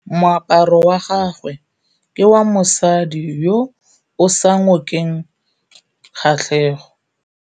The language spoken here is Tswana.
Moaparô wa gagwe ke wa mosadi yo o sa ngôkeng kgatlhegô.